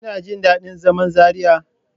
Kina jin daɗin zaman Zariya?